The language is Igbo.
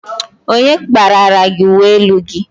Onye kparara gị uwe elu gị?